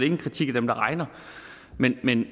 en kritik af dem der regner men en